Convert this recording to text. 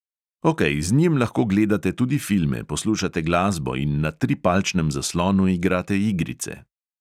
Okej, z njim lahko gledate tudi filme, poslušate glasbo in na tripalčnem zaslonu igrate igrice.